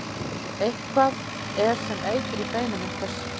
Eitthvað er sem eitur í beinum einhvers